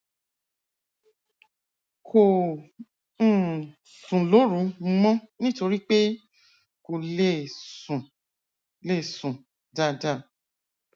kò um sùn lóru mọ nítorí pé kò lè sùn lè sùn dáadáa